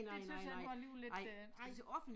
Det syntes jeg var alligevel lidt øh